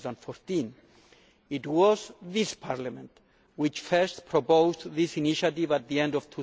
2014. It was this Parliament which first proposed this initiative at the end of